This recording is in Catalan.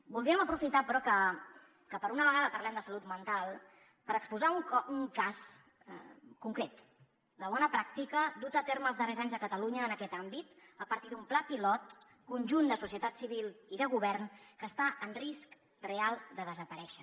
voldríem aprofitar però que per una vegada parlem de salut mental per exposar un cas concret de bona pràctica dut a terme els darrers anys a catalunya en aquest àmbit a partir d’un pla pilot conjunt de societat civil i de govern que està en risc real de desaparèixer